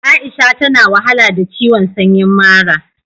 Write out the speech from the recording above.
Aisha ta na wahala da ciwon sanyin mara.